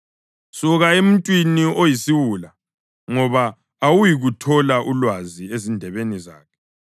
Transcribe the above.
Suka emuntwini oyisiwula, ngoba awuyikuthola ulwazi ezindebeni zakhe.